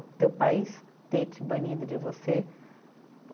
O teu país ter te banido de você